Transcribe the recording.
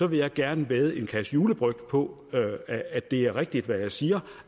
vil jeg gerne vædde en kasse julebryg på at at det er rigtigt hvad jeg siger